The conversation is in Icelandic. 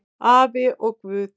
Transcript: Afi og Guð!